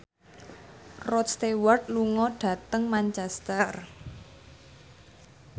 Rod Stewart lunga dhateng Manchester